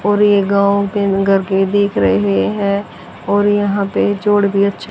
और ये गांव के नगर के दिख रहे हैं और यहां पे जोड़ भी अच्छे--